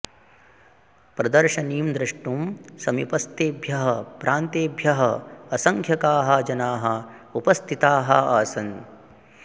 प्रदर्शनीं द्रष्टुं समीपस्थेभ्यः प्रान्तेभ्यः असङ्ख्याकाः जनाः उपस्थिताः आसन्